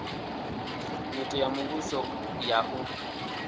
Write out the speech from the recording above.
nyito ya muvhuso ya u